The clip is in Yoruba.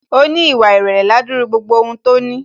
Ó ní ìwà ìrèlè ládúrú gbogbo ohun tó ní